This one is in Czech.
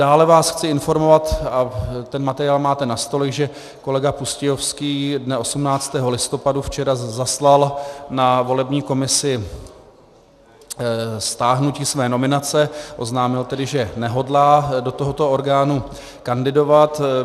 Dále vás chci informovat, a ten materiál máte na stole, že kolega Pustějovský dne 18. listopadu , včera, zaslal na volební komisi stáhnutí své nominace, oznámil tedy, že nehodlá do tohoto orgánu kandidovat.